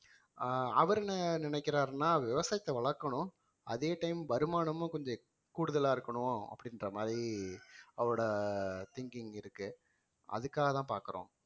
ஆஹ் அவரு என்ன நினைக்கிறாருன்னா விவசாயத்தை வளர்க்கணும் அதே time வருமானமும் கொஞ்சம் கூடுதலா இருக்கணும் அப்படின்ற மாதிரி அவரோட thinking இருக்கு அதுக்காகதான் பாக்குறோம்